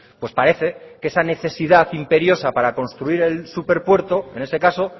pues parece que esa necesidad imperiosa para construir el superpuerto en ese caso